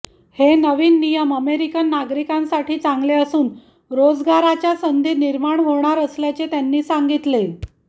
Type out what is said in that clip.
हे नवीन नियम अमेरिकन नागरिकांसाठी चांगले असून रोजगाराच्या संधी निर्माण होणार असल्याचे त्यांनी सांगितले